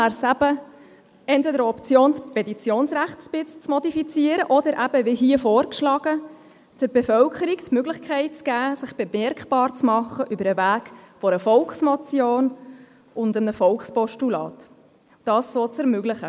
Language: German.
Deshalb wäre es entweder eine Option, das Petitionsrecht etwas zu modifizieren oder, wie hier vorgeschlagen, der Bevölkerung die Möglichkeit zu gewähren, sich über den Weg einer Volksmotion oder eines Volkspostulats bemerkbar zu machen.